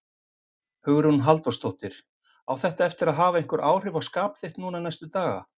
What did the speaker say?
Hugrún Halldórsdóttir: Á þetta eftir að hafa einhver áhrif á þitt skap núna næstu daga?